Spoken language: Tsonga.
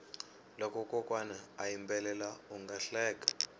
loko kokwana a yimbela unga hleka